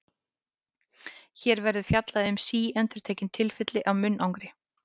Hér verður fjallað um síendurtekin tilfelli af munnangri.